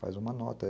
Faz uma nota.